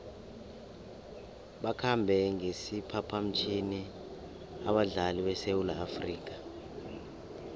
bakhambe ngesiphaphamtjhini abadlali besewula afrika